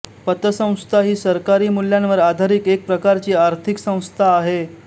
पतसंस्था ही सहकारी मूल्यांवर आधारित एका प्रकारची आर्थिक संस्था आहे